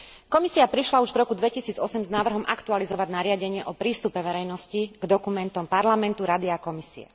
Komisia prišla už v roku 2008 s návrhom aktualizovať nariadenie o prístupe verejnosti k dokumentom Parlamentu, Rady a Komisie.